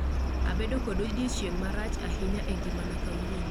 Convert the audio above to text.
Abedo kod odiechieng' marach ahinya e ngimana kawuono